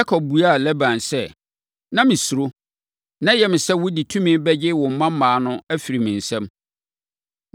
Yakob buaa Laban sɛ, “Na mesuro. Na ɛyɛ me sɛ wode tumi bɛgye wo mmammaa no afiri me nsam.